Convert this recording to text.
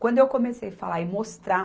Quando eu comecei falar e mostrar